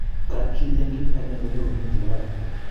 kap chi eng kit akenge ko nyorune che kararan